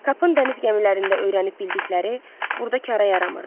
Kapın dəniz gəmilərində öyrənib bildikləri burada karə yaramırdı.